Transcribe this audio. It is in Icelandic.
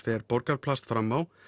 fer Borgarplast fram á